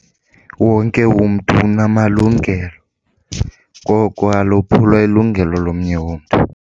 Wonke umntu unamalungelo, koko alophulwa ilungelo lomnye umntu.